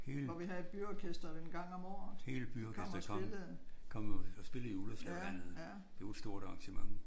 Hele hele byorkesteret kom kom og spillede i Ullerslevhallen. Det var et stort arrangement